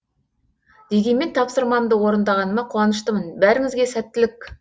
дегенмен тапсырмамды орындағаныма қуаныштымын бәріңізге сәттілік